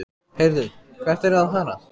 Heyrðu, hvert eruð þið að fara?